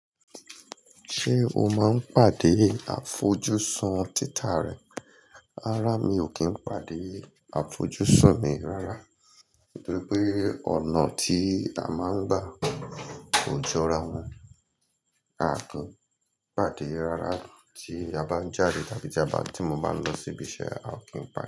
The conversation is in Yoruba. Ṣé o máa ń pàdé àfojúsùn títà rẹ? Rárá, mi ò kí ń pàdé àfojúsùn mi rárá, nítorí pé ọ̀nà tí a máa ń gbà ò jọra wọn. A kin pàdé rárá tí a bá ń jáde tàbí tí mo bá ń lọ síbi iṣẹ́, a ò kí ń pàdé.